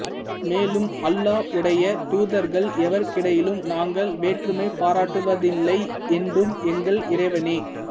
மேலும் அல்லாஹ்வுடைய தூதர்கள் எவருக்கிடையிலும் நாங்கள் வேற்றுமை பாராட்டுவதில்லை என்றும் எங்கள் இறைவனே